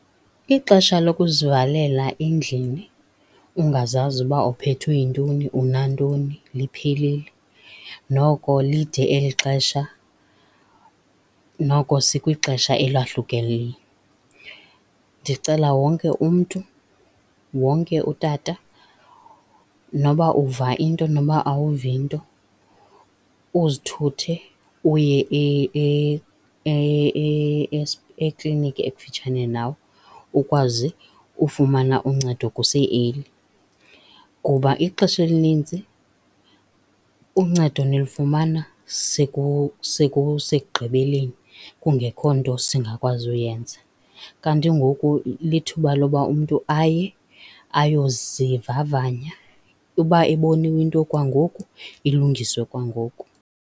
Ixesha lokuzivalela endlini ungazazi uba uphethwe yintoni, unantoni liphelile. Noko lide eli xesha, noko sikwixesha elahlukileyo. Ndicela wonke umntu, wonke utata noba uva into noba awuvi nto, uzithuthe uye ekliniki ekufutshane nawe ukwazi ufumana uncedo kuse early. Kuba ixesha elininzi uncedo nilufumana sekusegqibeleni kungekho nto singakwazi uyenza, kanti ngoku lithuba loba umntu aye ayozivavanya. Uba iboniwe into kwangoku ilungiswe kwangoku.